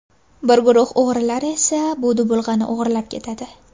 Bir guruh o‘g‘rilar esa bu dubulg‘ani o‘g‘irlab ketadi.